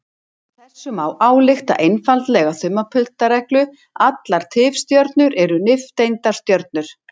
Af þessu má álykta einfalda þumalputtareglu: Allar tifstjörnur eru nifteindastjörnur.